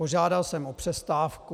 Požádal jsem o přestávku.